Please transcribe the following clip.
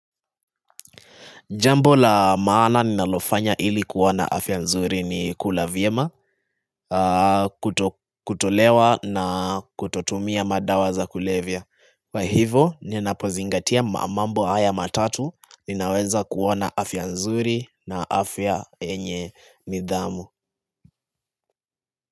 Jambo la maana ninalofanya ili kuwa na afya nzuri ni kula vyema, kutolewa na kutotumia madawa za kulevya. Kwa hivyo, ninapozingatia mambo haya matatu, ninaweza kuwa na afya nzuri na afya yenye nidhamu.